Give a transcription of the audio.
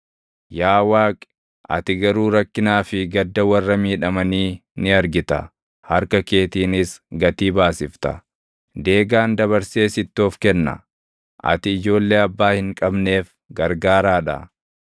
Yaa Waaqi, ati garuu rakkinaa fi gadda warra miidhamanii ni argita; harka keetiinis gatii baasifta. Deegaan dabarsee sitti of kenna; ati ijoollee abbaa hin qabneef gargaaraa dha.